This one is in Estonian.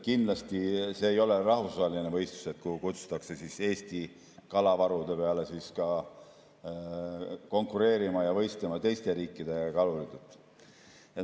Kindlasti ei ole see rahvusvaheline võistlus, kuhu kutsutakse Eesti kalavarude peale konkureerima ja nende pärast võistlema ka teiste riikide kalurid.